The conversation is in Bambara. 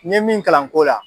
N ye min kalan nko la